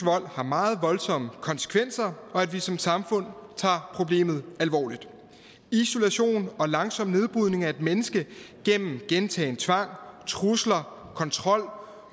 har meget voldsomme konsekvenser og at vi som samfund tager problemet alvorligt isolation og langsom nedbrydning af et menneske gennem gentagen tvang trusler kontrol